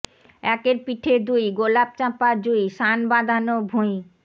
একের পিঠে দুই গোলাপ চাঁপা জুঁই সান্ বাঁধানো ভুঁই